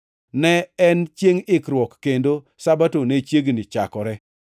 Ne en Chiengʼ Ikruok kendo Sabato ne chiegni chakore.